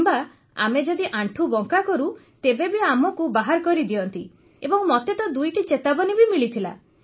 କିମ୍ବା ଆମେ ଯଦି ଆଣ୍ଠୁ ବଙ୍କା କରୁ ତେବେ ବି ଆମକୁ ବାହାର କରି ଦିଅନ୍ତି ଏବଂ ମତେ ତ ଦୁଇଟି ଚେତାବନୀ ବି ମିଳିଥିଲା